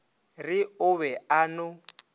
re o be a no